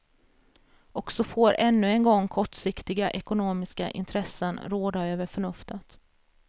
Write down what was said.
Och så får ännu en gång kortsiktiga ekonomiska intressen råda över förnuftet.